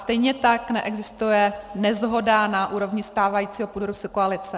Stejně tak neexistuje neshoda na úrovni stávajícího půdorysu koalice.